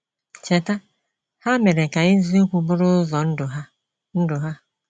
Cheta, ha mere ka eziokwu bụrụ ụzọ ndụ ha. ndụ ha.